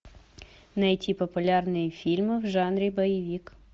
найти популярные фильмы в жанре боевик